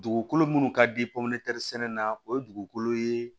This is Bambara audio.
Dugukolo minnu ka di sɛnɛ na o ye dugukolo ye